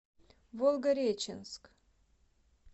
волгореченск